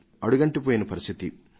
అడుగంటిపోయిన పరిస్థితి